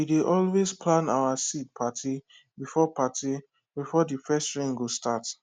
we dey always plan our seed parti before parti before de first rain go start